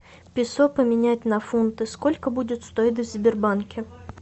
песо поменять на фунты сколько будет стоить в сбербанке